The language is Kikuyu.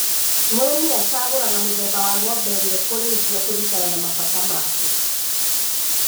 Mũrĩmĩ acagũraga mũthemba wa ng'ombe ĩrĩa ekũrĩithia kũringana na mabata make.